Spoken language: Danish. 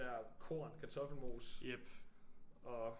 Der korn kartoffelmos og